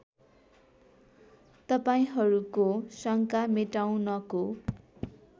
तपाईँहरूको शङ्का मेटाउनको